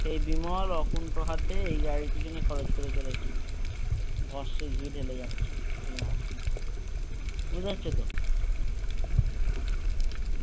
সেই বিমল অকুন্ঠ হাতে এই গাড়ির পিছনে খরচ করে চলেছে ভস্মে ঘি ঢেলে যাচ্ছে বিমল বুঝতে পারছো তো?